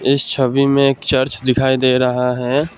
इस छवि में एक चर्च दिखाई दे रहा है।